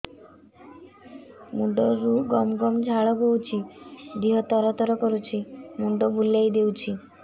ମୁଣ୍ଡରୁ ଗମ ଗମ ଝାଳ ବହୁଛି ଦିହ ତର ତର କରୁଛି ମୁଣ୍ଡ ବୁଲାଇ ଦେଉଛି